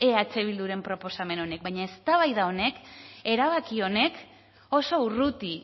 eh bilduren proposamen honek baina eztabaida honek erabaki honek oso urruti